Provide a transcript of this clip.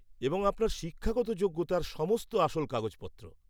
-এবং আপনার শিক্ষাগত যোগ্যতার সমস্ত আসল কাগজপত্র।